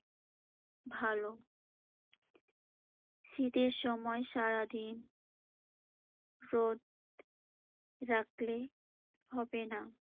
ভালো। শীতের সময় সারাদিন রোদ রাখলে হবে না।